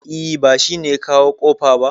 E, ba shi ne ya kawo kofa ba